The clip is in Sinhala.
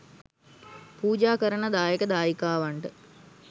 පූජා කරන දායක දායිකාවන්ට